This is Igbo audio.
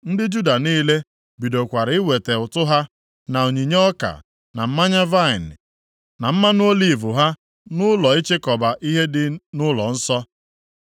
Ndị Juda niile bidokwara iweta ụtụ ha, na onyinye ọka, na mmanya vaịnị na mmanụ oliv ha nʼụlọ ịchịkọba ihe dị nʼụlọnsọ.